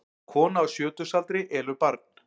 Kona á sjötugsaldri elur barn